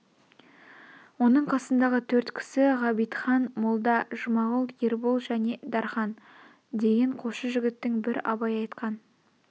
оның қасындағы төрт кісі ғабитхан молда жұмағұл ербол және дарқан деген қосшы жігттің бір абай айтқан